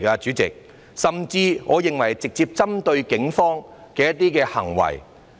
主席，我甚至認為這些是直接針對警方的行為。